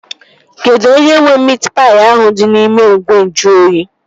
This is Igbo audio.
Kedụ onye nwee miit paị ahụ dị n'ime ìgwè nju oyi?